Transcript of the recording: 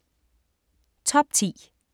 Top 10